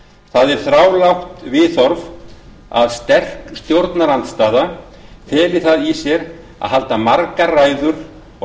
það er þrálátt viðhorf að sterk stjórnarandstaða feli það eitt í sér að halda margar ræður og